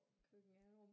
Køkken-alrum